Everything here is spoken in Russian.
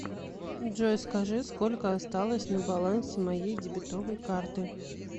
джой скажи сколько осталось на балансе моей дебетовой карты